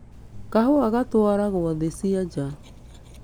Kahũa gatwaragwo thĩ cia nanja